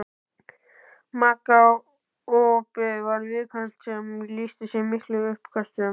Magaopið var viðkvæmt sem lýsti sér í miklum uppköstum.